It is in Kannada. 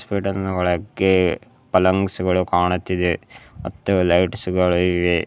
ಒಳಕ್ಕೆ ಪಲ್ಲಂಗ್ಸ್ಗಳು ಕಾಣುತ್ತಿದೆ ಮತ್ತು ಲೈಟ್ಸ್ ಗಳು ಇವೆ.